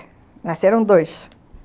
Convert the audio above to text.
Nasceram dois.